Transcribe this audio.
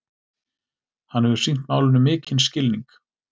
Hann hefur sýnt málinu mikinn skilning